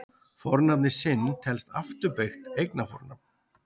Fornafnið sinn telst afturbeygt eignarfornafn.